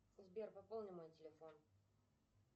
сбер пополни мой телефон